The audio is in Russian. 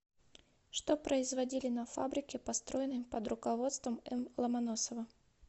что производили на фабрике построенной под руководством м ломоносова